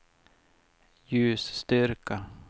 ljusstyrka